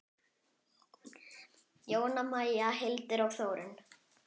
Jóna Maja, Hildur og Þórunn.